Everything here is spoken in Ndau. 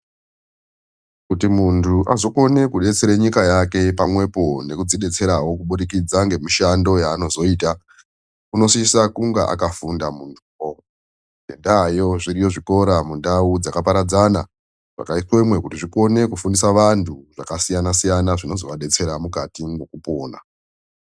Kuti muntu azokone ku detsere nyika yake pa mwepo nekudzi detserawo ku budikidza nge mishando yaano zoita unosisa kunga akafunda muntu wo ngenda yo zviriyo zvikora mundau dzaka paradzana zvaka iswemo kuti zvikone kufundisa vantu zvaka siyana siyana zvinozo vadetsera mukati mwo kupona.